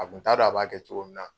A kun t'a dɔn a b'a kɛ cogo min na!